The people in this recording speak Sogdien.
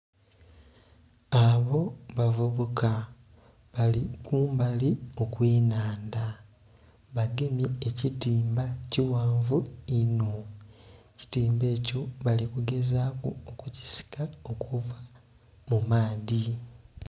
Abo bavubuka bali kumbali okwenhandha, bagemye ekitimba ekighanvu inho ekitimba ekya bali kugezaku okukisika okuva mu maadhi.